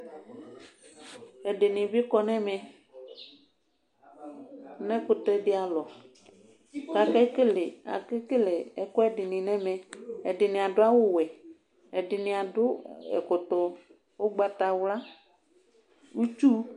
alʊ ɛdɩnɩbɩ kɔ nu ɛmɛ nʊ ɛkʊtɛ dɩ alɔ, kʊ akekele ɛkuɛdɩnɩ nʊ ɛmɛ, ɛdinɩ adʊ awuwɛ, ɛdɩnɩ akɔ ɛkɔtɔ ugbatawla, itsu